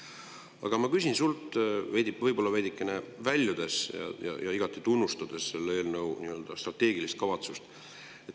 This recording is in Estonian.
Aga ma küsin sinult, võib-olla veidikene väljudes ja igati tunnustades selle eelnõu strateegilist kavatsust.